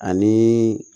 Ani